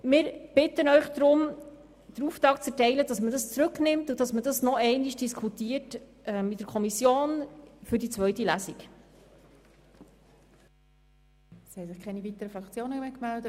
Wir bitten Sie darum, den Auftrag für die Rücknahme in die Kommission zu erteilen, damit diese im Hinblick auf die zweite Lesung noch einmal darüber diskutiert.